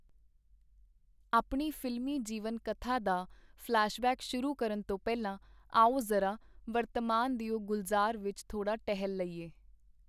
ਆਪਣੀ ਫ਼ਿਲਮੀ ਜੀਵਨ-ਕਥਾ ਦਾ ਫ਼ਲੈਸ਼-ਬੈਕ ਸ਼ੁਰੂ ਕਰਨ ਤੋਂ ਪਹਿਲਾਂ ਆਓ ਜ਼ਰਾ ਵਰਤਮਾਨ ਦਿਓ ਗੁਲਜ਼ਾਰ ਵਿਚ ਥੋੜਾ ਟਹਿਲ ਲਈਏ.